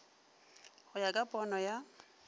go ya ka pono ya